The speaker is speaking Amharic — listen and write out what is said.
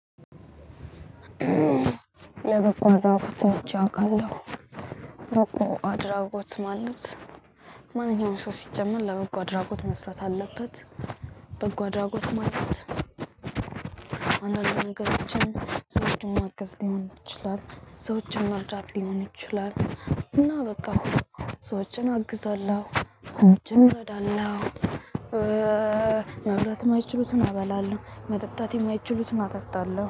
ለበጎ አድራጎት ሰርቼ አውቃለሁ። በጎ አድራጎት ማለት ማንኛውንም ሰው ሲጀመር ለበጎ ድራጎት መስራት አለበት። በጎ አድራጎት ማለት። አንዳንድ ነገሮችን ሰዎችን ማገዝ ሊሆን ይችላል። ሰዎችን መርዳት ሊሆን ይችላል። እና በቃ ሰዎችን አግዛለሁ ሰዎችን እረዳለሁ። ማብላት የማይችሉትን አበላለሁ መጠጣት የማይችሉትን አጠጣለሁ